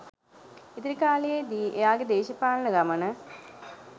ඉදිරි කාලයේ දී එයාගේ දේශපාලන ගමන